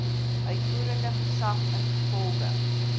uitvoerende gesag ingevolge